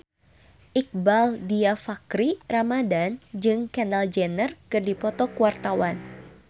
Iqbaal Dhiafakhri Ramadhan jeung Kendall Jenner keur dipoto ku wartawan